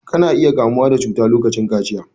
Ka na iya kamuwa da cuta lokacin kaciya.